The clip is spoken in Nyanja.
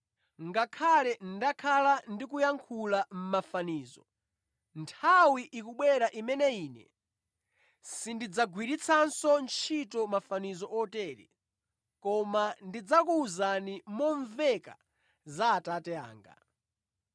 “Ngakhale ndakhala ndikuyankhula mʼmafanizo, nthawi ikubwera imene Ine sindidzagwiritsanso ntchito mafanizo otere koma ndidzakuwuzani momveka za Atate anga.